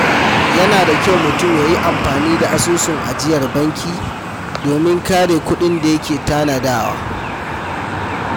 Yana da kyau mutum ya yi amfani da asusun ajiyar banki domin kare kuɗin da yake tanadawa.